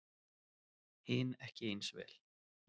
Hin ekki eins vel.